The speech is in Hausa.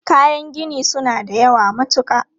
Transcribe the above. Kayan gini su na da yawa matuka.